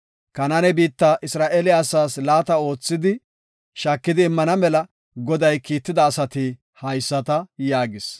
Kanaane biitta Isra7eele asaas laata oothidi shaakidi immana mela Goday kiitida asati haysata” yaagis.